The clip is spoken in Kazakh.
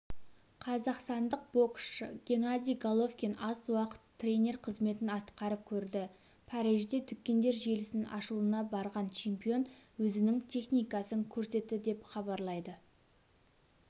қазақстандық боксшы генадий головкин аз уақыт тренер қызметін атқарып көрді парижде дүкендер желісінің ашылуына барған чемпион өзінің техникасын көрсетті деп хабарлайды